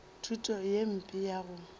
thuto ye mpe ya go